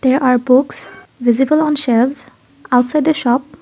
there are books visible on shelves outside a shop.